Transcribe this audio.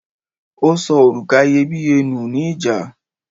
o sọ oruka iyebiye ni ni ìjà